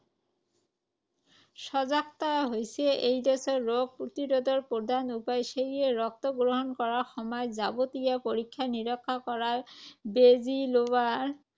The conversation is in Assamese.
সজাগতাই হৈছে এইড্‌ছ ৰোগ প্ৰতিৰোধৰ প্ৰধান উপায়। সেয়ে ৰক্ত গ্ৰহণ কৰাৰ সময়ত যাৱতীয় পৰীক্ষা-নিৰীক্ষা কৰাৰ, বেজি লোৱাৰ